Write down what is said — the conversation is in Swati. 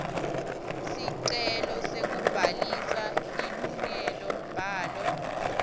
sicelo sekubhalisa lilungelombhalo